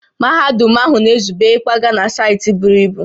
Mahadum ahụ na-ezube ịkwaga na saịtị buru ibu